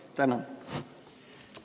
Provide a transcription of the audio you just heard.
Tänan!